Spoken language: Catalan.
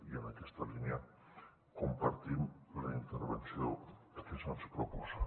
i en aquesta línia compartim la intervenció que se’ns proposa